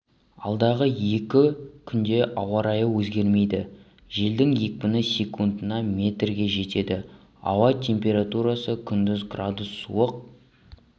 алдағы екі күнде ауа райы өзгермейді желдің екпіні секундына метрге жетеді ауа температурасы күндіз градус суық